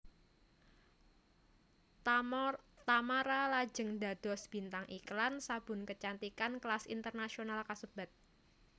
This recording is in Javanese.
Tamara lajeng dados bintang iklan sabun kecantikan kelas internasional kasebat